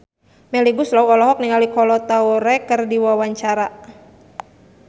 Melly Goeslaw olohok ningali Kolo Taure keur diwawancara